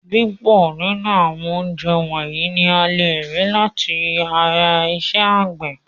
Púpọ̀ nínú àwọn oúnjẹ wọ̀nyìí ni a lè rí láti ara iṣẹ́ àgbẹ̀.